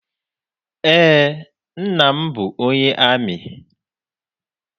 Eé, nna m bụ onye amị.